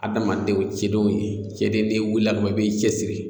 Adamadenw cɛdenw ye cɛdenw n'i wulila ka ban i bɛ i cɛsiri